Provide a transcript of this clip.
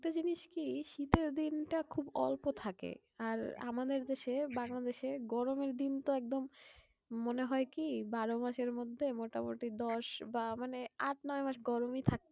একটা জিনিস কি? শীতের দিনটা খুব অল্প থাকে। আর আমাদের দেশে বাংলাদেশে গরমের দিন তো একদম মনে হয় কি? বারো মাসের মধ্যে মোটামুটি দশ বা মানে আট নয় মাস গরমই থাকে।